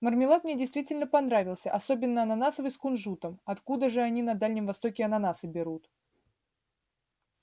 мармелад мне действительно понравился особенно ананасовый с кунжутом откуда же они на дальнем востоке ананасы берут